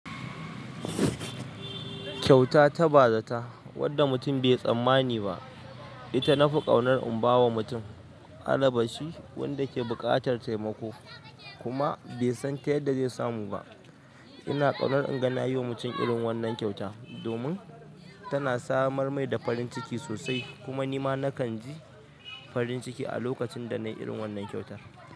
Kyauta ta bazata wadda mutum bai tsammani ba ita na fi ƙaunar in ba wa mutum, alabashi wanda ke buƙatar taimako kuma bai san ta yadda zai samu ba. Ina ƙaunar inga na yi wa mutum irin wannan kyauta domin tana samar mai da farin ciki sosai, kuma ni ma nakan ji farin ciki a lokacin da na yi irin wannan kyautar.